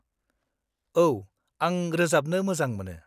-औ, आं रोजाबनो मोजां मोनो।